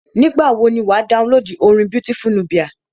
Nígbà wọ ni wà á downloadu orin Beautiful Nubia.